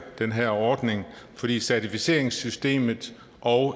den her ordning fordi certificeringsystemet og